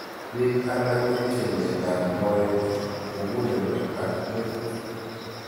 Piik alak kotinye miondop moet, mug'uleldo ak metit